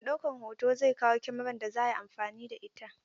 Mai ɗaukan hoto zai kawo Kamarar da za a yi amfani da ita.